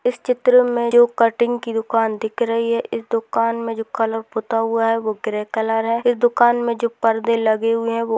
इस चित्र में जो कटिंग की दुकान दिख रही है इस दुकान में जो कलर पुता हुआ है वो ग्रे कलर है इस दुकान में जो पर्दे लगे हुए है वो ओ --